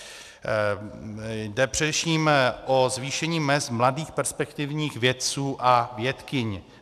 Jde především o zvýšení mezd mladých perspektivních vědců a vědkyň.